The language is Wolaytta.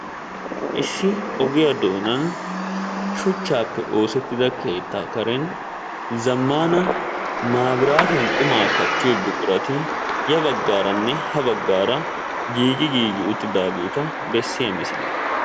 Issi ogiya doonan shuchchaappe oosettida keettaa karen zammaana maabiraatiyan qumaa kattiyo buqurati ya baggaaranne ha baggaara giigi giigi uttidaageet bessiya misiliya.